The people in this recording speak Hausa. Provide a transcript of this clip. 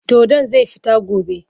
Dodon zai fita gobe.